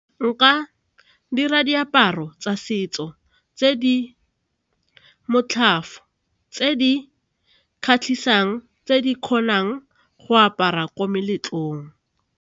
Nka dira diaparo tsa setso tse di , tse di kgatlhisang, tse di kgonang go aparwa ko meletlong.